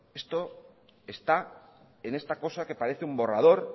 esto está en esta cosa que parece un borrador